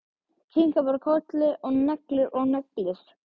Kinkar bara kolli og neglir og neglir.